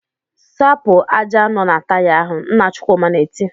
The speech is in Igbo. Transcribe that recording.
"Sapụ ájá nọ na Taya ahụ!" Nna Chukwuma na-eti.